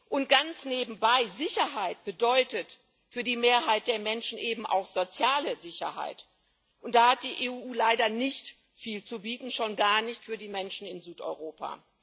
Und ganz nebenbei Sicherheit bedeutet für die Mehrheit der Menschen eben auch soziale Sicherheit, und da hat die EU leider nicht viel zu bieten, schon gar nicht für die Menschen in Südeuropa.